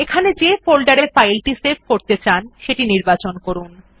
এখানে যে ফোল্ডার এ ফাইল সেভ করতে চান সেটি নির্বাচন করুন